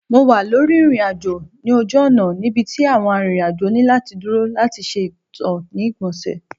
Mo wa lori irin-ajo oju-ọna nibiti awọn arinrin-ajo ni lati duro lati ṣe ito ni igbonse